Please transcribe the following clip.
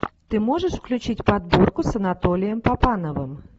ты можешь включить подборку с анатолием папановым